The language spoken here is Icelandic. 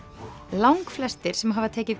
langflestir sem hafa tekið